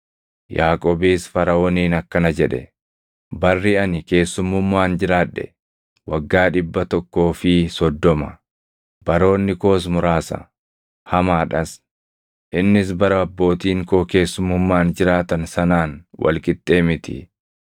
Yaaqoobis Faraʼooniin akkana jedhe; “Barri ani keessummummaan jiraadhe waggaa dhibbaa tokkoo fi soddoma. Baroonni koos muraasa; hamaadhas; innis bara abbootiin koo keessummummaan jiraatan sanaan wal qixxee miti.”